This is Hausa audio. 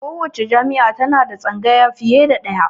Kowacce jami'a ta na da tsangaya fiye da ɗaya